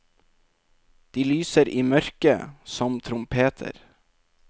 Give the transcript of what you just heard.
De lyser i mørket, som trompeter.